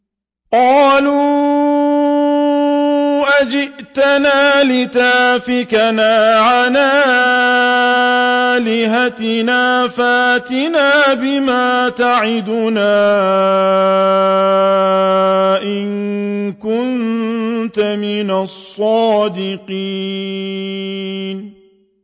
قَالُوا أَجِئْتَنَا لِتَأْفِكَنَا عَنْ آلِهَتِنَا فَأْتِنَا بِمَا تَعِدُنَا إِن كُنتَ مِنَ الصَّادِقِينَ